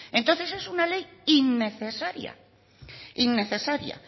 entonces es una ley innecesaria innecesaria